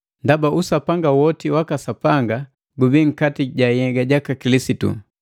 Ndaba usapanga woti waka Sapanga gubii nkati ja nhyega jaka Kilisitu,